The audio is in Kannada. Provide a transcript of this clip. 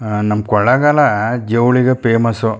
ಅಹ್ ನಮ್ಮ ಕೊಳ್ಳೇಗಾಲ ಜವಳಿಗೆ ಫೇಮಸ್ .